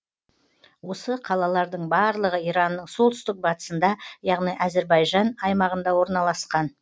осы қалалардың барлығы иранның солтүстік батысында яғни әзірбайжан аймағында орналасқан